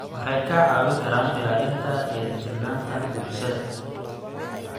Waxay kaa caawin karaan ilaalinta dheelitirnaanta bulshada.